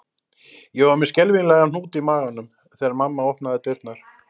Ég var með skelfilegan hnút í maganum þegar mamma opnaði dyrnar